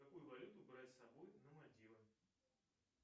какую валюту брать с собой на мальдивы